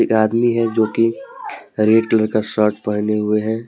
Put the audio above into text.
आदमी है जोकि रेड कलर का शर्ट पहने हुए हैं ।